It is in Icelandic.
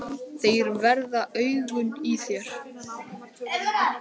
Þeir verða augun í þér.